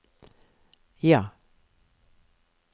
ja